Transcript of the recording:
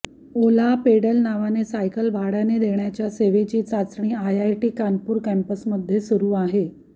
ओला pedal नावाने cycle भाडय़ाने देण्याच्या सेवेची चाचणी आयआयटी कानपूर कॅम्पसमध्ये सुरू आहे